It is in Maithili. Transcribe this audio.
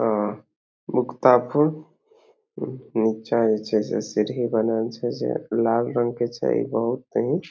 नीचे जइसे सीढ़ी बनल छे जे लाल रंग के छये बहुत ही --